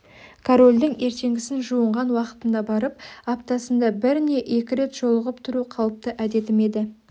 корольдің ертеңгісін жуынған уақытында барып аптасында бір не екі рет жолығып тұру қалыпты әдетім еді